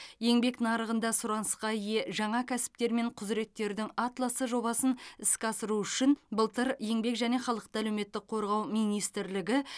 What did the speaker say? еңбек нарығында сұранысқа ие жаңа кәсіптер мен құзыреттердің атласы жобасын іске асыру үшін былтыр еңбек және халықты әлеуметтік қорғау министрлігі